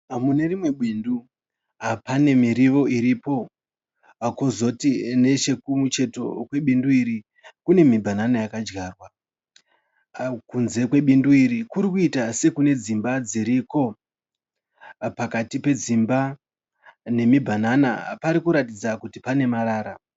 Mune rimwe bindu pane miriwo iripo. Kozoti nechekumucheto kwebindu iri kune mibhanana yakadyarwa. Kunze kwebindu iri kuri kuita sekune dzimba dziriko. Pakati pedzimba idzi nemibhanana pari kuratidza kuti pane marara.